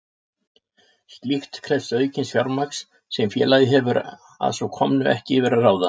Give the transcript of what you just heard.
Slíkt krefst aukins fjármagns sem félagið hefur að svo komnu ekki yfir að ráða.